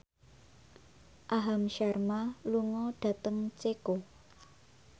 Aham Sharma lunga dhateng Ceko